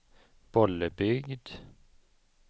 Bollebygd